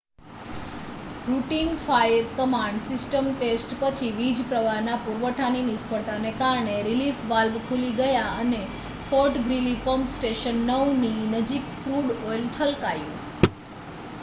routine fire command system test પછી વીજપ્રવાહના પુરવઠાની નિષ્ફળતાને કારણે રિલીફ વાલ્વ ખુલી ગયા અને ફૉર્ટ ગ્રીલી પમ્પ સ્ટેશન 9ની નજીક ક્રૂડ ઑઇલ છલકાયું